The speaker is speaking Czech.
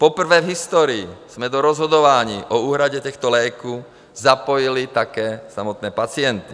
Poprvé v historii jsme do rozhodování o úhradě těchto léků zapojili také samotné pacienty.